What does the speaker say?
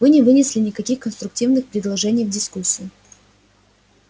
вы не вынесли никаких конструктивных предложений в дискуссию